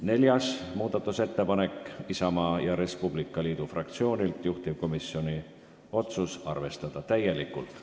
Neljas muudatusettepanek on Isamaa ja Res Publica Liidu fraktsioonilt, juhtivkomisjoni otsus on arvestada täielikult.